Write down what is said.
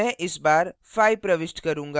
मैं इस बार 5 प्रविष्ट करूँगा